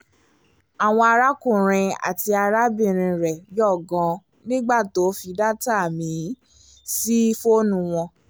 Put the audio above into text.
àwọn arákùnrin àti arábìnrin rẹ̀ yọ̀ gan-an nígbà tó fi data míì sí fọ́ọ̀nù wọn